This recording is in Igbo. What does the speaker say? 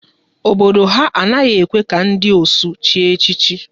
Obodo ha a naghị ekwe ka ndị ọsụ chie echichi